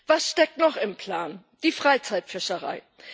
Was steckt noch im Plan die Freizeitfischerei.